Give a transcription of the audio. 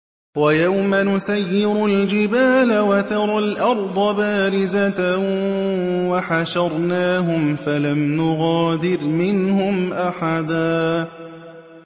وَيَوْمَ نُسَيِّرُ الْجِبَالَ وَتَرَى الْأَرْضَ بَارِزَةً وَحَشَرْنَاهُمْ فَلَمْ نُغَادِرْ مِنْهُمْ أَحَدًا